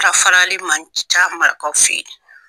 ka farali man ca marakaw fɛ yen.